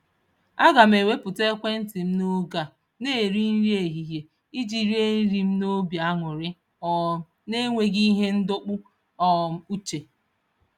Aga m ewepụ ekwentị m n'oge a na-eri nri ehihie iji rie nri m n'obi aṅụrị um n'enweghị ihe ndọpụ um uche.